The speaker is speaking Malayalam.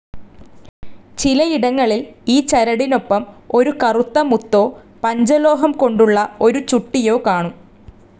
ചിലയിടങ്ങളിൽ ഈ ചരടിനോപ്പം ഒരു കറുത്ത മുത്തോ, പഞ്ചലോഹം കൊണ്ടുള്ള ഒരു ചുട്ടിയോ കാണും.